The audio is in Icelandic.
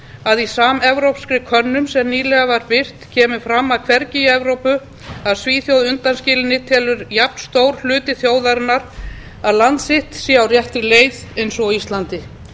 að í samevrópskri könnun sem nýlega var birt kemur fram að hvergi í evrópu að svíþjóð undanskildu telur jafnstór hluti þjóðarinnar að land sitt sé á réttri leið og á íslandi